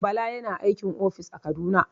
Bala yana aikin ofis a kaduna.